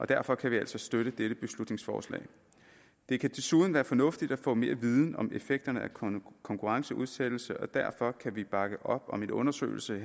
derfor kan vi altså støtte dette beslutningsforslag det kan desuden være fornuftigt at få mere viden om effekterne af konkurrenceudsættelse og derfor kan vi bakke op om en undersøgelse